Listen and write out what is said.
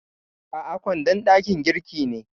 A'a, kwandon dakin girki ne.